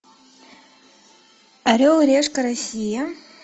орел решка россия